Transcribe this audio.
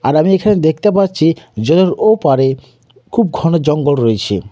আর আমি এখানে দেখতে পাচ্ছি জলের ওপারে খুব ঘন জঙ্গল রয়েছে।